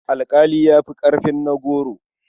Alƙali ya fi ƙarfin na goro.